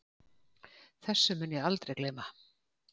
Þessu mun ég aldrei gleyma